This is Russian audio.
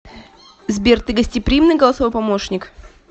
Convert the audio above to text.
сбер ты гостеприимный голосовой помощник